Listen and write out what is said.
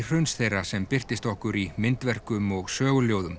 hruns þeirra sem birtist okkur í myndverkum og